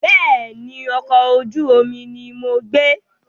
Bẹ́ẹ̀ni, ọkọ̀ ojú omi ni mo gbé.